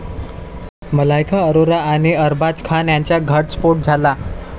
मलायका अरोरा आणि अरबाज खान यांचा घटस्फोट झाला.